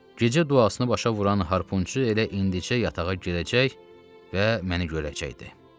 Gecə duasını başa vuran harpunçu elə indincə yatağa girəcək və məni görəcəkdi.